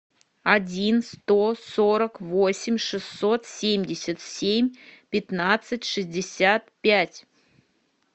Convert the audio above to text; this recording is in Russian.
один сто сорок восемь шестьсот семьдесят семь пятнадцать шестьдесят пять